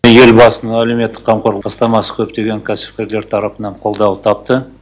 елбасының әлеуметтік қамту бастамасы көптеген кәсіпкерлер тарапынан қолдау тапты